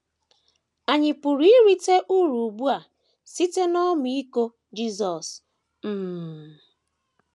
Ànyị pụrụ irite uru ugbu a site n’ọmịiko Jisọs? um ’ um